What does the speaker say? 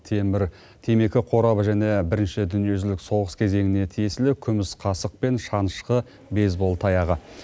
темір темекі қорабы және бірінші дүниежүзілік соғыс кезеңіне тиесілі күміс қасық пен шанышқы бейсбол таяғы